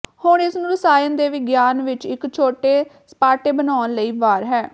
ਹੁਣ ਇਸ ਨੂੰ ਰਸਾਇਣ ਦੇ ਵਿਗਿਆਨ ਵਿੱਚ ਇੱਕ ਛੋਟੇ ਸਪਾਟੇ ਬਣਾਉਣ ਲਈ ਵਾਰ ਹੈ